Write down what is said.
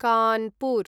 Kanpur